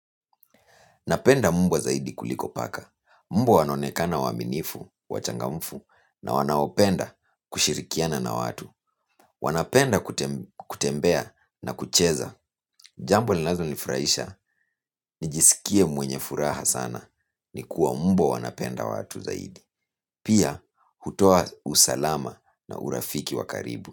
Napenda mbwa zaidi kuliko paka. Mbwa wanaonekana waaminifu, wachangamfu na wanaopenda kushirikiana na watu. Wanapenda kutembea na kucheza. Jambo linalonifurahisha, nijiskie mwenye furaha sana. Nikuwa mbwa wanapenda watu zaidi. Pia, hutoa usalama na urafiki wa karibu.